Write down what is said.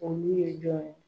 Olu ye jɔn ye